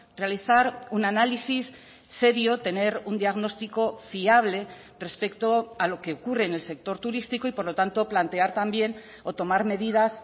realizar un análisis serio tener un diagnóstico fiable respecto a lo que ocurre en el sector turístico y por lo tanto plantear también o tomar medidas